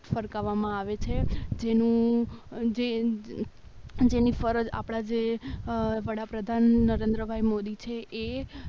ફરકાવવામાં આવે છે જેનું જ જેની ફરજ આપણી જે વડાપ્રધાન નરેન્દ્ર મોદી છે એ